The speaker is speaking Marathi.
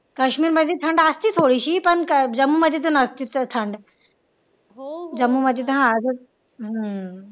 कश्मीर मध्ये थंड असतेच थोडीशी पण जम्मू मध्ये तर नसतेच थंड जम्मू मध्ये तर हा हम्म